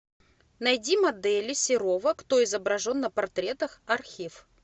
найди модели серова кто изображен на портретах архив